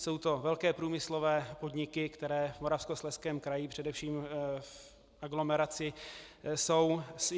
Jsou to velké průmyslové podniky, které v Moravskoslezském kraji, především v aglomeraci, jsou.